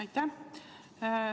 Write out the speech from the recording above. Aitäh!